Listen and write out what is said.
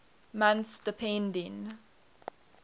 months depending